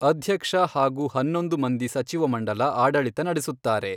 ಅಧ್ಯಕ್ಷ ಹಾಗೂ ಹನ್ನೊಂದು ಮಂದಿ ಸಚಿವ ಮಂಡಲ ಆಡಳಿತ ನಡೆಸುತ್ತಾರೆ.